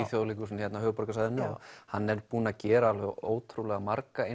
Þjóðleikhúsinu hérna á höfuðborgarsvæðinu já hann er búinn að gera alveg ótrúlega marga